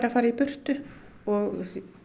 fara í burtu og